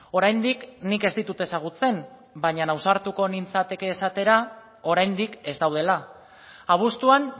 oraindik nik ez ditut ezagutzen baina ausartuko nintzateke esatera oraindik ez daudela abuztuan